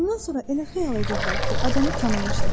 Bundan sonra elə xəyal edirdilər ki, adamı tanımışlar.